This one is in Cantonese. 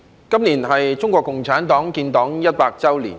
今年是中國共產黨建黨一百周年。